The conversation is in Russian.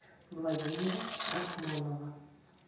владимира рахмонова